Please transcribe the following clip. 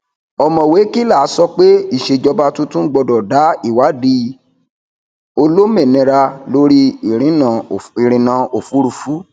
òmọwé kila sọ pé ìṣèjọba tuntun gbọdọ dá ìwádìí olómìnira lórí ìrìnà òfurufú